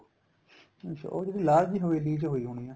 ਅੱਛਾ ਉਹ ਜਿਹੜੀ ਲਾਲ ਜੀ ਹਵੇਲੀ ਚ ਹੋਈ ਹੋਣੀ ਏ